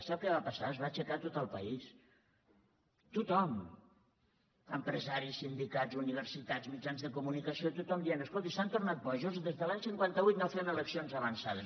sap què va passar es va aixecar tot el país tothom empresaris sindicats universitats mitjans de comunicació tothom d ient escolti s’han tornat bojos des de l’any cinquanta vuit no fem eleccions avançades